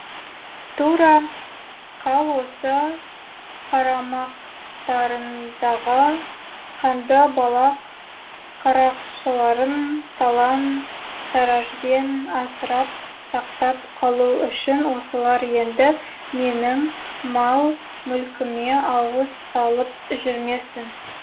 тура қал осы қарамақтарындағы қанды балақ қарақшыларын талан таражбен асырап сақтап қалу үшін осылар енді менің мал мүлкіме ауыз салып жүрмесін